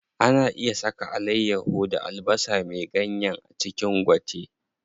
Ana iya saka alayyaho da albasa me ganyen a cikin gwate.